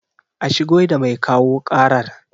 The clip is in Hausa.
A shigo da mai kawo ƙarar